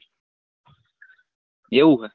એવું હોય